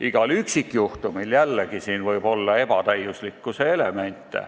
Igal üksikjuhtumil võib siin jällegi olla ebatäiuslikkuse elemente.